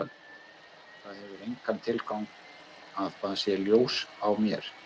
Það hefur engan tilgang að það sé ljós á mér.